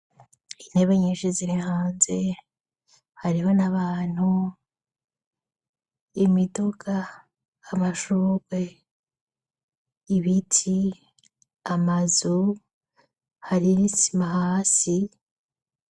Intebe nyinshi ziri hanze. Hariho n'abantu, imiduga, amashurwe, ibiti, amazu, hari n'isima hasi.